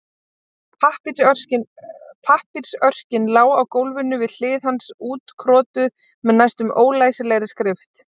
Pappírsörkin lá á gólfinu við hlið hans útkrotuð með næstum ólæsilegri skrift.